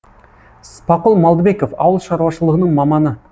спақұл малдыбеков ауыл шаруашылығының маманы